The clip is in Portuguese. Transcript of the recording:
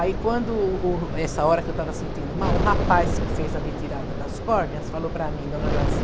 Aí quando o, essa hora que eu estava sentindo mal, o rapaz que fez a retirada das córneas falou para mim, dona Jaci,